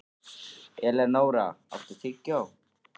Elenóra, áttu tyggjó?